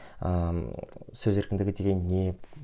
ыыы сөз еркіндігі деген не